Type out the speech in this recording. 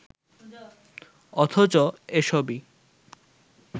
অথচ এসবই